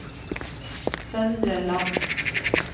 Søndre Land